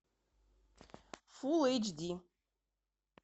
фулл эйч ди